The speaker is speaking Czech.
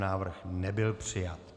Návrh nebyl přijat.